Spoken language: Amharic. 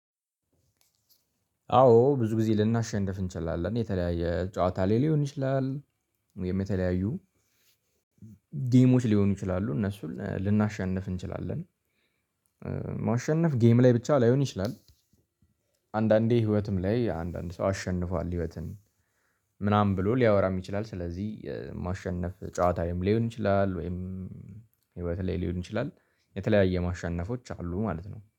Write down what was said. አዎ ብዙ ጊዜ ልናሸንፍ እንችላለን የተለያየ ጨዋታ ላይ ሊሆን ይችላል። ወይም የተለያዩ ጌሞች ሊሆኑ ይችላሉ እነሱን ልናሸንፍ እንችላለን። ማሸነፍ ጌም ላይ ብቻ ላይሆን ይችላል። አንዳንዴ ህይወትም ላይ አንዳንድ ሰው አሸንፏል ህይወትን ምናምን ብሎ ሊያወራም ይችላል። ስለዚህ ማሸነፍ ጨዋታ ላይ ሊሆን ይችላል ወይም ህይወት ላይ ሊሆን ይችላል። የተለያየ ማሸነፎች አሉ ማለት ነው